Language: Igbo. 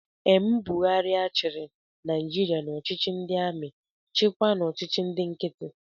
M. Buhari chịrị Naijiria n'ọchịchị ndị amị, chịkwaa n'ọchịchị ndị nkiti